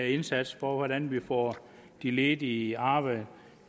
indsats for hvordan vi får de ledige i arbejde